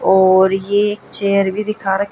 और ये एक चेयर भी दिखा--